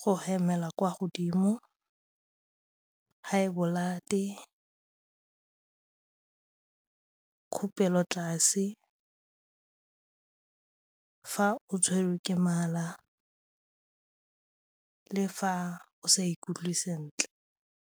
go hemela kwa godimo, high blood-e, khupelo tlase, fa o tshwerwe ke mala le fa o sa ikutlwe sentle.